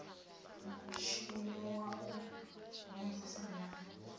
mutshino wa u mvumvusa na